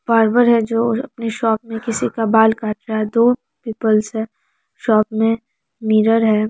Barber है जो अपने शॉप में किसी का बाल काट रहा है दो पीपल्स है शॉप में मिरर है ।